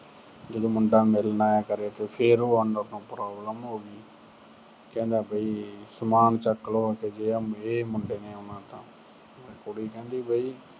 ਤੇ ਜਦੋਂ ਉਹ ਮੁੰਡਾ ਮਿਲਣ ਆਇਆ ਕਰੇ ਤੇ ਫਿਰ ਉਹ owner ਨੂੰ problem ਹੋ ਗਈ। ਕਹਿੰਦਾ ਵੀ ਸਮਾਨ ਚੱਕ ਲੋ, ਜੇ ਆਹ ਇਹ ਮੁੰਡੇ ਨੇ ਆਉਣਾ ਤਾਂ। ਕੁੜੀ ਕਹਿੰਦੀ ਬਈ